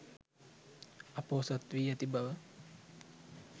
අ‍පොහොසත් වී ඇති බව